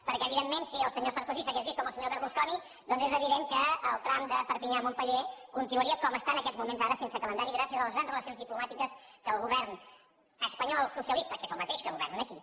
perquè evidentment si el senyor sarkozy s’hagués vist com el senyor berlusconi doncs és evident que el tram de perpinyà a montpeller continuaria com està en aquests moments ara sense calendari gràcies a les grans relacions diplomàtiques que el govern espanyol socialista que és el mateix que governa aquí